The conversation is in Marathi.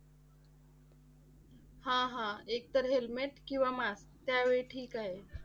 हा. हा. एक तर helmet किंवा mask त्यावेळी ठीक आहे.